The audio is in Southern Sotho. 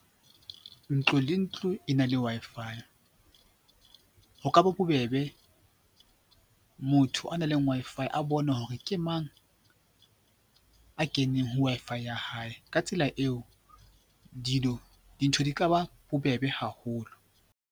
Ntlo le ntlo e na le Wi-Fi. Ho ka ba bobebe motho a nang leng Wi-Fi a bone hore ke mang a keneng ho Wi-Fi ya hae. Ka tsela eo dintho di ka ba bobebe haholo.